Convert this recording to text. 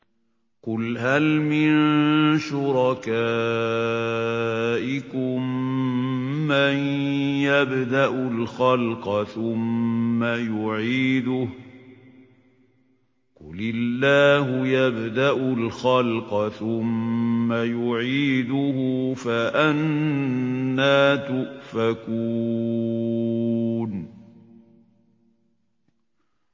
قُلْ هَلْ مِن شُرَكَائِكُم مَّن يَبْدَأُ الْخَلْقَ ثُمَّ يُعِيدُهُ ۚ قُلِ اللَّهُ يَبْدَأُ الْخَلْقَ ثُمَّ يُعِيدُهُ ۖ فَأَنَّىٰ تُؤْفَكُونَ